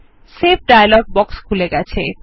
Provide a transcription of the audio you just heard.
save dialog box খুলে গেছে